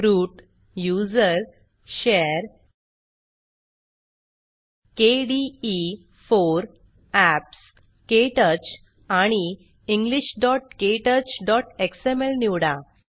root usr share kde4 apps क्टच आणि englishktouchएक्सएमएल निवडा